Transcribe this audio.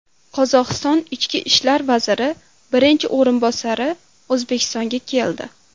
Qozog‘iston ichki ishlar vaziri birinchi o‘rinbosari O‘zbekistonga keldi.